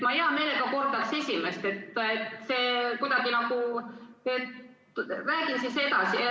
Ma hea meelega kordaks esimest küsimust.